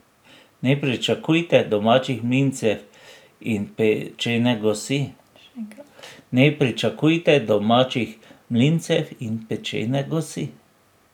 Ne pričakujte domačih mlincev in pečene gosi.